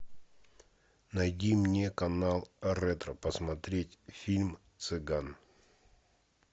найди мне канал ретро посмотреть фильм цыган